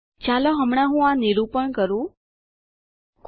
ચાલો હમણાં હું આ નિરૂપણ ડેમોનસ્ટ્રેટ કરું